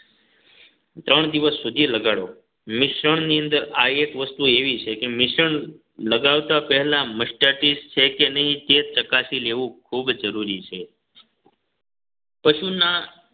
ત્રણ દિવસ સુધી લગાડો મિશ્રણની અંદર આ એક વસ્તુ એવી છે કે મિશ્રણ લગાવતા પહેલા mastitis છે કે નહીં તે ચકાસી લેવું ખૂબ જરૂરી છે પશુના